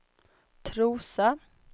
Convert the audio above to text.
Trosa